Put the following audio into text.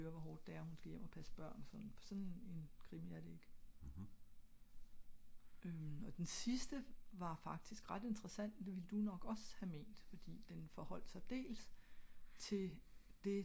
fordi såen en krimi er det ikke